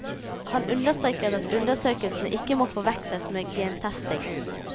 Hun understreker at undersøkelsen ikke må forveksles med gentesting.